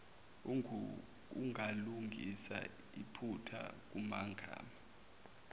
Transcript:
ungalungisa iphutha kumagama